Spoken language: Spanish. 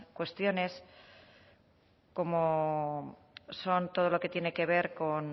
cuestiones como son todo lo que tiene que ver con